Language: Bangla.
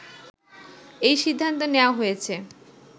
এই সিদ্ধান্ত নেয়া হয়েছে